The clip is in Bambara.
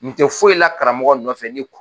Nin tɛ foyi la karamɔgɔ nɔfɛ nin kun